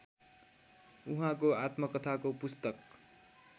उहाँको आत्मकथाको पुस्तक